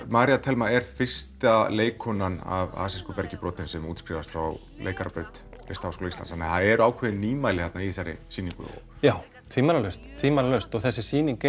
María Thelma er fyrsta leikkonan af bergi brotin sem útskrifast frá leikarabraut Listaháskólans þannig að það eru ákveðin nýmæli þarna í þessari sýningu já tvímælalaust tvímælalaust og þessi sýning